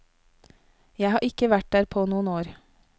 Jeg har ikke vært der på noen år.